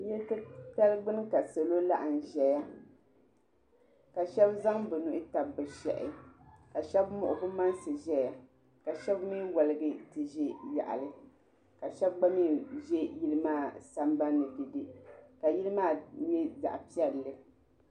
Yili titali gbini ka salo laɣim ʒɛya ka sheba zaŋ bɛ nuhi tabi bɛ shehi ka sheba muɣi bɛ mansi ʒɛya ka sheba mee woligi ti ʒi yaɣali ka sheba gba mee ʒi yili maa sambani dede ka yili maa nyɛ zaɣa piɛlli.